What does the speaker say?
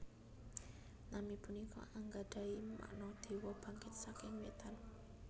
Nami punika anggadhahi makna Dewa Bangkit saking Wétan